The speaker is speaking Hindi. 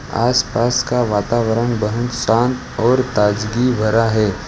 आसपास का वातावरण बहुत शांत और ताजगी भरा है।